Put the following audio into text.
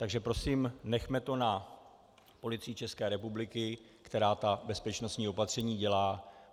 Takže prosím, nechme to na Policii České republiky, která ta bezpečnostní opatření dělá.